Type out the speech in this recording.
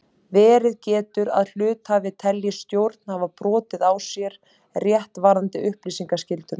Verið getur að hluthafi telji stjórn hafa brotið á sér rétt varðandi upplýsingaskylduna.